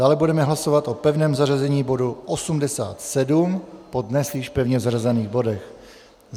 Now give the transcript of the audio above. Dále budeme hlasovat o pevném zařazení bodu 87 po dnes již pevně zařazených bodech.